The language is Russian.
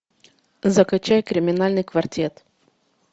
закачай криминальный квартет